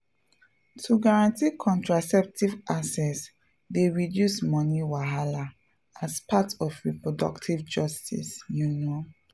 to guarantee contraceptive access dey reduce money wahala as part of reproductive justice you know.